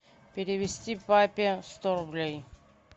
перевести папе сто рублей